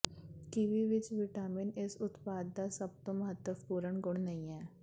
kiwi ਵਿਚ vitamin ਇਸ ਉਤਪਾਦ ਦਾ ਸਭ ਤੋਂ ਮਹੱਤਵਪੂਰਨ ਗੁਣ ਨਹੀਂ ਹੈ